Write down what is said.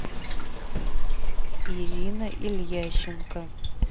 ирина ильященко